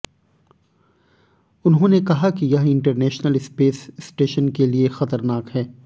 उन्होने कहा कि यह इंटरनेशनल स्पेस स्टेशन के लिए ख़तरनाक है